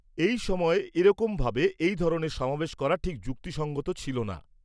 এই সময়ে এরকম ভাবে এই ধরনের সমাবেশ করা ঠিক যুক্তিসঙ্গত ছিল না।